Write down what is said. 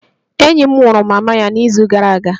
Enyi m nwụrụ mama ya n'izu gara aga